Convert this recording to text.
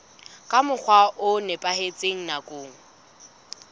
ka mokgwa o nepahetseng nakong